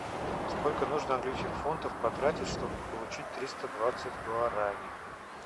сколько нужно английских фунтов потратить чтобы получить триста двадцать гуарани